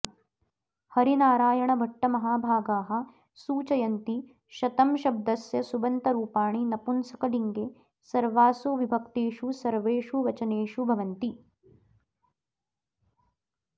हरिनारायणभट्टमहाभागाः सूचयन्ति शतम् शब्दस्य सुबन्तरूपाणि नपुंसकलिङ्गे सर्वासु विभक्तिषु सर्वेषु वचनेषु भवन्ति